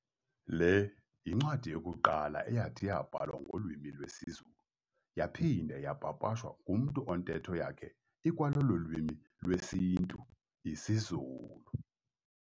Le yincwadi yokuqala eyathi yabhalwa ngolwimi lwesiZulu, yaphinda yapapashwa ngumntu ontetho yakhe ikwalolo lwimi lwesintu, isiZulu.